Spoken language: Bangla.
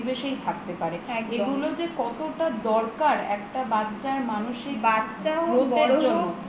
পরিবেশেই থাকতে পারে এগুলো যে কতটা দরকার একটা বাচ্ছার মানসিক growth এর জন্য